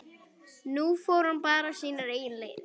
Nú fór hann bara sínar eigin leiðir.